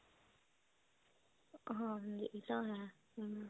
ਹਾਂਜੀ ਇਹ ਤਾਂ ਹੈ ਹਮ